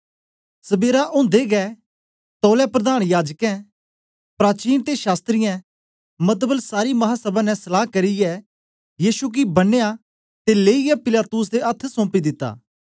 सबेरा ओदे गै तौलै प्रधान याजकें प्राचीन ते शास्त्रियें मतबल सारी महासभा ने सलाह करियै यीशु गी बनया ते लेईयै पिलातुस दे अथ्थ सौपी दिता